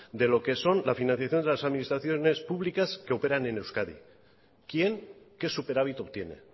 de lo que son la financiación de la administraciones públicas que operan en euskadi quién qué superávit obtiene